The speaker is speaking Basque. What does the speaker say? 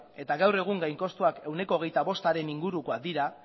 eta gaur egun gainkostuak ehuneko hogeita bostaren ingurukoak dira